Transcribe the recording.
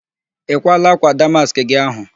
Ị kwaala ákwà damaskị gị ahụ?